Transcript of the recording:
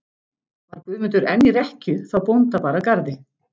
Var Guðmundur enn í rekkju þá bónda bar að garði.